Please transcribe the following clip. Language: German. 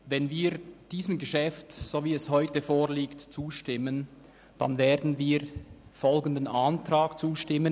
Wenn wir diesem Geschäft so, wie es heute vorliegt, zustimmen, dann werden wir im Wortlaut folgendem Antrag zustimmen: